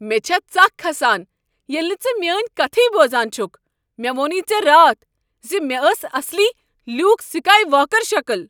مےٚ چھےٚ ژکھ کھسان ییلہِ نہٕ ژٕ میٲنۍ كتھٕیے بوزان چھُكھ۔ مےٚ ووٚنُے ژےٚ راتھ زِ مےٚ ٲس اكھ اصلی لِیوٗکھ سكایہِ واكر شكل۔